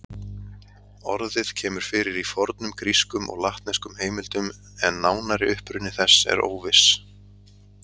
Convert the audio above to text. Orðið kemur fyrir í fornum grískum og latneskum heimildum en nánari uppruni þess er óviss.